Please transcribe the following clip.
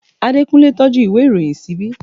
Adekunle tọ́jú ìwé ìròyìn ṣíbí